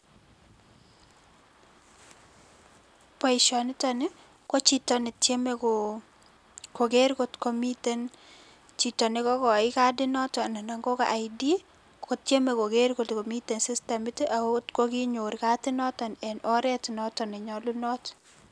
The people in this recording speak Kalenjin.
Boisonitoni, ko chito ne tyeme koger kotko miten chito ne kokochin kadit noton nan kobo ID, kotieme koger kotko miten system ak ng'ot ko kinyor kadit noton en oret notok ne nyolunot